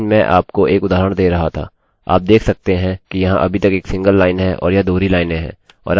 आप देख सकते हैं कि यह अभी तक एक सिंगल लाइन है और यह दोहरी लाइनें हैं और आप उन्हें मिश्रित नहीं कर सकते